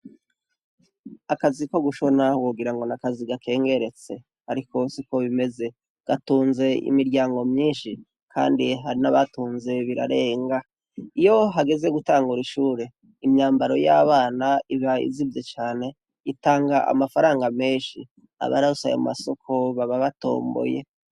Akazi ko gushona wogira ngo ni akazi gakengeretse. Ariko siko bimeze. Gatunze imiryango myishi kandi hari n'abatunze birarenga. Iyo hageze gutangura ishure, imyambaro y'abana iba izimvye cane. Itanga amafaranga menshi. Abaronse ayo masoko baba batomboye.